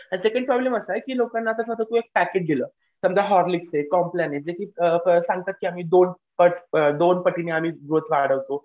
आणि ते काही प्रॉब्लेम असा आहे की लोकांना तसा तो एक दिलं समजा हॉर्लिक्स ये, कॉम्प्लेन आहे जे की सांगतात की आम्ही दोन पट दोनपटीने आम्ही ग्रोथ वाढवतो.